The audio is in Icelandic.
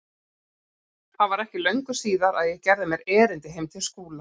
Það var ekki löngu síðar að ég gerði mér erindi heim til Skúla.